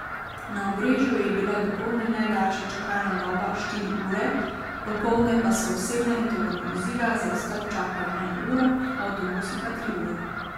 Na Obrežju je bila dopoldne najdaljša čakalna doba štiri ure, popoldne pa so osebna in tovorna vozila za izstop čakala eno uro, avtobusi pa tri ure.